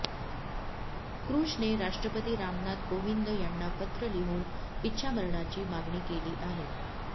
कृषने राष्ट्रपती रामनाथ कोविंद यांना पत्र लिहून इच्छामरणाची मागणी केली आहे